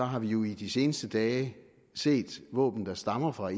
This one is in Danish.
har vi jo i de seneste dage set våben der stammer fra